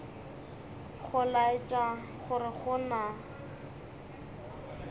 go laetša gore go na